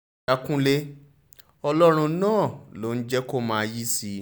lọ́ọ̀ọ́yà kúnlẹ̀ ọlọ́run náà ló ń jẹ́ kó máa yìísì